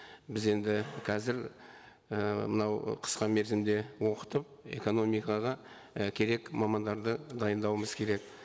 біз енді қазір і мынау қысқа мерзімде оқытып экономикаға і керек мамандарды дайындауымыз керек